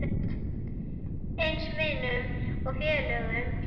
Eins vinum og félögum makans.